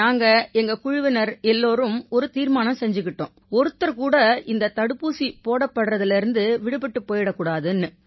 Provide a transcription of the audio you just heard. நாங்க எங்க குழுவினர் எல்லாரும் ஒரு தீர்மானம் செஞ்சுக்கிட்டோம் ஒருத்தர் கூட இந்த தடுப்பூசி போடப்படுறதிலிருந்து விடுபட்டுப் போயிரக் கூடாதுன்னு